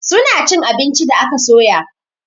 Suna chin abinci da aka soya